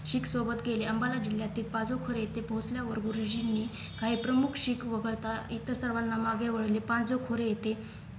शीख सोबत गेले अंबाला जिल्ह्यातील पाजळखोर येथे पोहोचल्यावर गुरुजींनी काही प्रमुख शिख वगळता इतर सर्वांना मागे वळवले पाजळखोर येथे